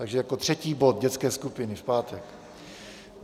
Takže jako třetí bod dětské skupiny v pátek.